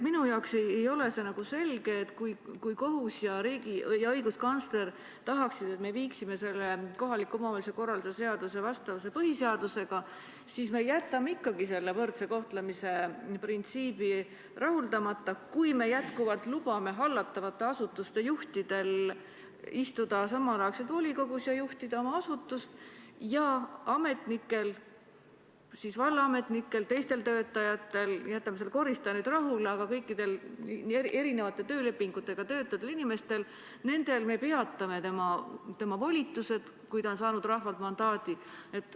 Minule ei ole selge, et kui kohus ja õiguskantsler tahaksid, et me viiksime kohaliku omavalitsuse korralduse seaduse vastavusse põhiseadusega, miks me jätame ikkagi võrdse kohtlemise printsiibi arvestamata ja jätkuvalt lubame hallatavate asutuste juhtidel istuda samal ajal volikogus ja juhtida oma asutust, kuid ametnikel, vallaametnikel, teistel töötajatel – jätame selle koristaja nüüd rahule –, kõikidel erinevate töölepingutega töötavatel inimestel me peatame volitused, kui nad on saanud rahvalt mandaadi.